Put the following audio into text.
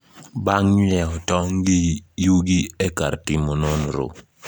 Bang ' ng'iewo tong ' gi yugi e kar timo nonro